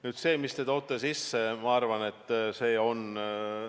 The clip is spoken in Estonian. Nüüd see, mis te sisse tõite.